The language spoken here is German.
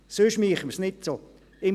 Sonst würde man es nicht so machen.